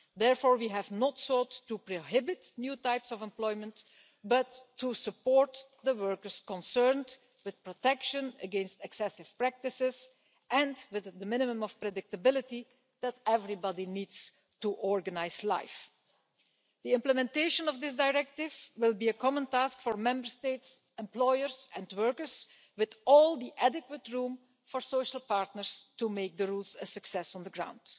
Therefore, we have not sought to prohibit new types of employment, but to support the workers concerned with protection against excessive practices and with the minimum of predictability that everybody needs to organise life. The implementation of this directive will be a common task for Member States, employers and workers, with all the adequate room for social partners to make the rules a success on the ground.